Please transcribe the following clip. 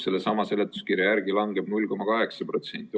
Sellesama seletuskirja järgi langeb 0,8%.